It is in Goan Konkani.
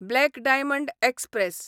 black diamond express